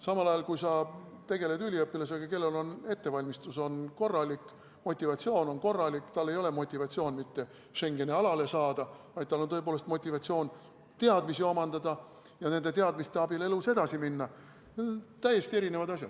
Samal ajal, kui sa tegeled üliõpilasega, kellel on korralik ettevalmistus ja motivatsioon, tal ei ole motivatsioon mitte Schengeni alale saada, vaid tal on tõepoolest motivatsioon teadmisi omandada ja nende teadmiste abil elus edasi minna, siis see on täiesti erinev asi.